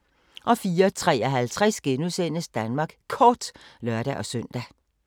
04:53: Danmark Kort *(lør-søn)